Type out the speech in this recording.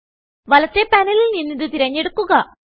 വലത്തെ പാനലിൽ നിന്നിത് തിരഞ്ഞെടുക്കുക